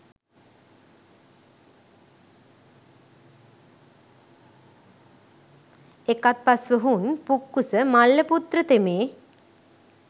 එකත්පස් ව හුන් පුක්කුස මල්ලපුත්‍ර තෙමේ